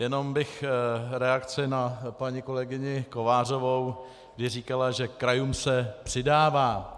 Jenom bych reakci na paní kolegyni Kovářovou, kdy říkala, že krajům se přidává.